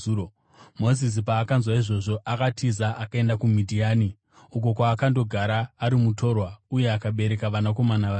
Mozisi paakanzwa izvozvo, akatiza akaenda kuMidhiani, uko kwaakandogara ari mutorwa uye akabereka vanakomana vaviri.